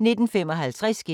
TV 2